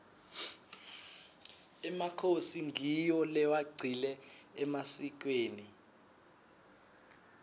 emakhosi ngiwo lewagcile emasikweni